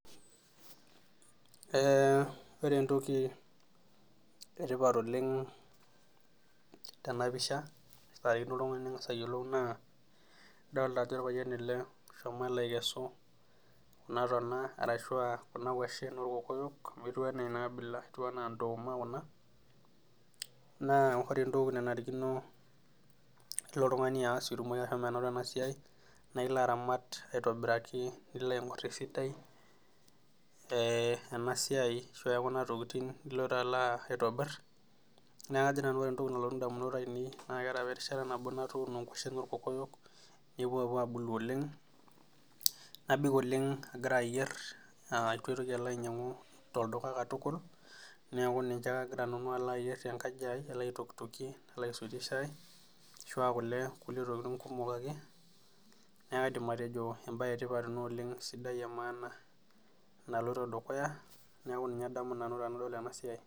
Ee ore entoki etipat oleng tenapisha naifakino oltungani ningas ayiolou naa aolta ajo orpayian ele oshomo aikesu kuna tona arashua kuna kwashen orkokoyok amu etiu enaa enaabila, etiu enaa ndoma kuna , naa ore entoki nanarikino pilo oltungani aas pitumoki ashomo anoto enasiai naa ilo aramat aitobiraki ,nilo aingor esidai ee enasiai ashua ekuna tokitin nilo alo aitobir , niaku kajo nanu ore entoki nalotu ndamunot ainei naa keeta apa erishata nabo natuuno nkwashen orkokoyok nepuo apuo abulu oleng, nabik oleng agira ayier , aa itu aitoki alo ainyiangu tolduka katukul , niaku ninche ake agira nanu alo ayier tenkaji ai , alo aitokitokie ashu aisotie shai , ashua kule, ashu ntokitin kumok ake, niaku kaidim atejo embae etiapat ena oleng sidai emaana naloito dukuya niaku ninye adamu nanu tenadol enasiai .